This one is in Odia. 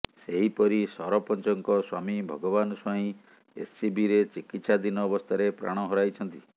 ସେହିପରି ସରପଞ୍ଚଙ୍କ ସ୍ବାମୀ ଭଗବାନ ସ୍ବାଇଁ ଏସ୍ସିବିରେ ଚିକିତ୍ସାଧିନ ଅବସ୍ଥାରେ ପ୍ରାଣ ହରାଇଛନ୍ତି